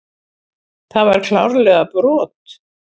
Það var klárlega brot.